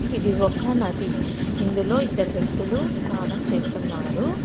ఇది ఒక నది ఇందులో ఇద్దరు వ్యక్తులు స్నానం చేస్తున్నారు.